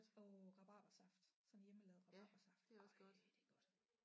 Åh rabarbersaft sådan hjemmelavet rabarbersaft ej det er godt